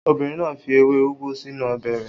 Obìnrin náà fi ewé úgú sínú ọbẹ̀ rẹ̀.